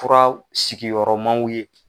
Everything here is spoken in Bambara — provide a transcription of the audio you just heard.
Fura sigiyɔrɔmaw ye